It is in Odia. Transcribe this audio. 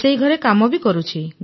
ରୋଷେଇ ଘରେ କାମ କରୁଛି